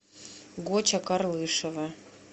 гоча карлышева